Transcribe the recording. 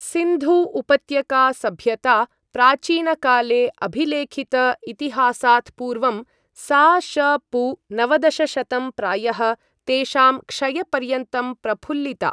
सिन्धु उपत्यका सभ्यता, प्राचीनकाले अभिलेखित इतिहासात् पूर्वं सा.श.पू. नवदशशतं प्रायः तेषां क्षयपर्यन्तं प्रफुल्लिता।